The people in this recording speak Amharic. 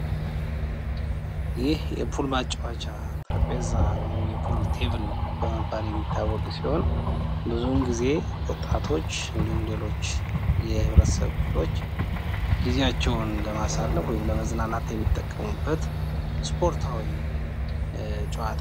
ይህ የፑል ማጫወቻ ጠረጴዛ ወይም የፑል ቴብል በመባል የሚታወቅ ሲሆን ብዙን ጊዜ ወጣቶች ወይም ሌሎች የህብረተሰብ ክፍሎቸሰ ጊዜያቸውን ለማሳለፍ ወይም ለመዝናናት የሚጠቀሙበት ስፖርታዊ ጨዋታ ነው።